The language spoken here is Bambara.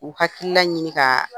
U hakilila ɲini k'a